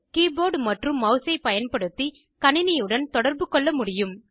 keyboard மற்றும் மெளஸை பயன்படுத்தி கணினியுடன் தொடர்பு கொள்ள முடியும்